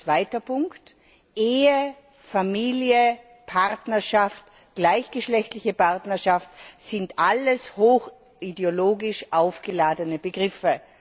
Zweiter Punkt Ehe, Familie, Partnerschaft, gleichgeschlechtliche Partnerschaft sind alles ideologisch stark aufgeladene Begriffe.